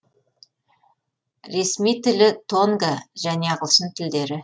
ресми тілі тонга және ағылшын тілдері